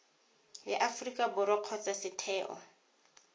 ya aforika borwa kgotsa setheo